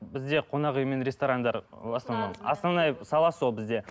бізде қонақ үй мен ресторандар ы в основном основная сала сол бізде